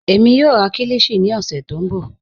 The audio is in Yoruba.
Ẹmi yọọ rà kílíshì ní ọ̀ṣẹ̀ tó nbọ.